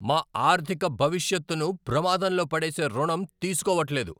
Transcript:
మా ఆర్థిక భవిష్యత్తును ప్రమాదంలో పడేసే రుణం తీసుకోవట్లేదు!